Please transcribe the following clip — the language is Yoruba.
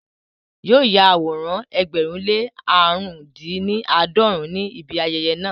Yóò ya àwòrán ẹgbẹ̀rún lé ní aarun-din-ni-aadọrun ní ibi ayẹyẹ náà